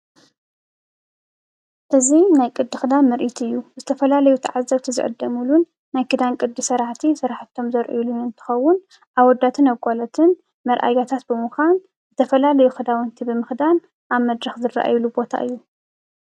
እዚ ናይ ቅዲ ክዳን ምሪኢት እዩ፡፡ ዝተፈላለዩ ተዓዘብቲ ዝዕደሙሉን ናይ ክድን ቅዲ ሰራሕቲ ስራሕቶም ዘሪኢሉ እንትከውን አወዳትን አጋላትን መርእያታት ብምካን ዝተፈላለዩ ክዳውንቲ ብምክዳን ኣብ መድረከ ዝረእዩሉ ቦታ እዩ፡፡